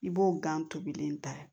I b'o gan tobilen ta